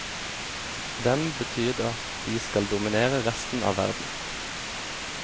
For dem betyr det at de skal dominere resten av verden.